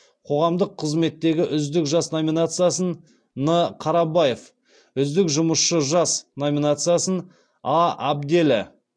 қоғамдық қызметтегі үздік жас номинациясын н қарабаев үздік жұмысшы жас номинациясын а абделі